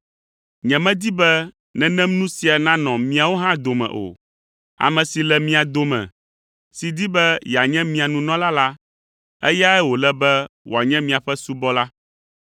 Nyemedi be nenem nu sia nanɔ miawo hã dome o. Ame si le mia dome si di be yeanye mia nunɔla la, eyae wòle be wòanye miaƒe subɔla,